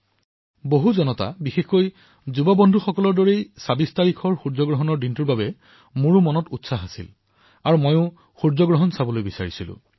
সমূহ দেশবাসী বিশেষকৈ মোৰ যুৱবন্ধুসকলৰ দৰে মইও ২৬ তাৰিখে সূৰ্যগ্ৰহণৰ দিনা সকলো দেশবাসীৰ দৰে মোৰো মনতে উদ্দীপনাৰ সৃষ্টি হৈছিল আৰু মই সূৰ্যগ্ৰহণ প্ৰত্যক্ষ কৰিবলৈ বিচাৰিছিলো